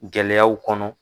Gɛlɛyaw kɔnɔ.